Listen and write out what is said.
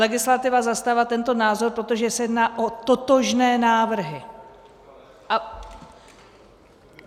Legislativa zastává tento názor, protože se jedná o totožné návrhy.